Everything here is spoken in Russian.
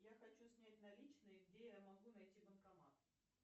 я хочу снять наличные где я могу найти банкомат